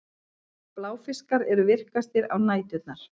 Bláfiskar eru virkastir á næturnar.